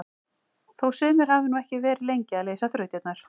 Þó sumir hafi nú ekki verið lengi að leysa þrautirnar!